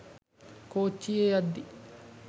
කෝච්චියෙ යද්දි